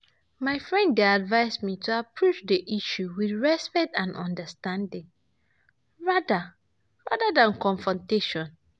My friend dey advise me to approve the issue wiith respect and understanding, rather rather than confrontation